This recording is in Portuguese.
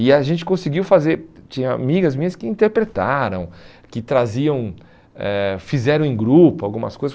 E a gente conseguiu fazer, tinha amigas minhas que interpretaram, que traziam, eh fizeram em grupo algumas coisas.